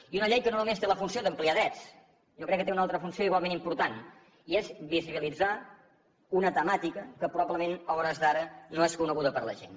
i una llei que no només té la funció d’ampliar drets jo crec que té una altra funció igualment important i és visibilitzar una temàtica que probablement a hores d’ara no és coneguda per la gent